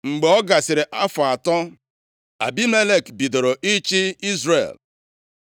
Mgbe ọ gasịrị afọ atọ Abimelek bidoro ịchị Izrel,